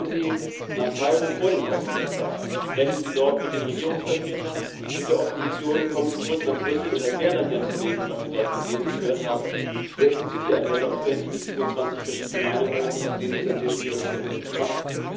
Fahren Sie vor dem Außenministerrat nach Kairo. Sprechen Sie dort mit den Regierungsvertretern und mit der Opposition, kommen Sie zurück nach Brüssel und erklären Sie dann Ihren Kollegen, was Sie dort gesehen und gehört haben. Setzen Sie die Agenda und hören Sie sich nicht 27 verschiedene Meinungen an, aus denen es dann sehr schwierig ist, etwas zu machen.